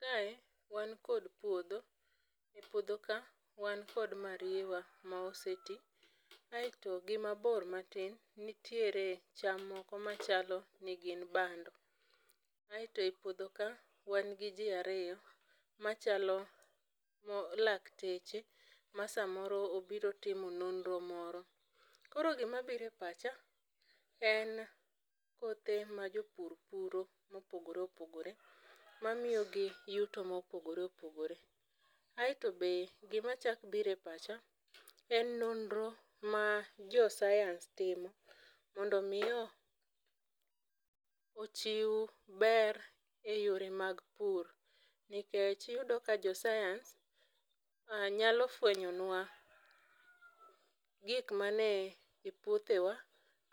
Kae , wan kod puodho, e puodho ka, wan kod mariewa ma osetii, aito gi mabor matin ,nitiere cham moko machalo ni gin bando. Aito e puodho ka , wan gi jii ariyo machalo lakteche ma samoro obiro timo nonro moro. Koro gima biro e pacha, en kothe ma jopur puro mopogoreopogore, mamiyogi yuto mopogoreopogore. Aito be, gima chak biro e pacha , en nonro ma josayans timo mondo mi ochiw ber e yore mag pur, nikech iyudo ka josayans nyalo fwenyonwa gik man e puothewa